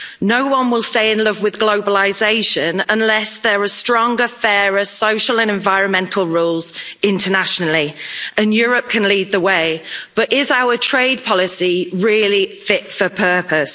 No one will stay in love with globalisation unless there are stronger, fairer social and environmental rules internationally and Europe can lead the way, but is our trade policy really fit for purpose?